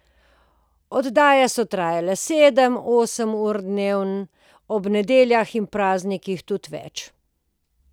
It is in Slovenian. Oddaje so trajale sedem, osem ur dnevno, ob nedeljah in praznikih tudi več.